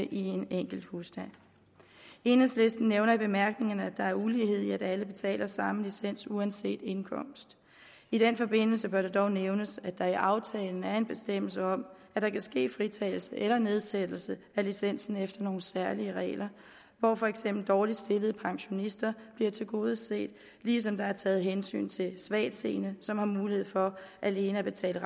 i en enkelt husstand enhedslisten nævner i bemærkningerne at der er ulighed i at alle betaler samme licens uanset indkomst i den forbindelse bør det dog nævnes at der i aftalen er en bestemmelse om at der kan ske fritagelse eller nedsættelse af licensen efter nogle særlige regler hvor for eksempel dårligt stillede pensionister bliver tilgodeset ligesom der er taget hensyn til svagtseende som har mulighed for alene at betale